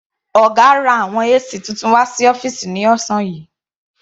Ọ̀gá ra àwọn AC titun wà sí ọ́fìsì ní ọ̀sán yìí.